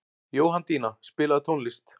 Jóhanndína, spilaðu tónlist.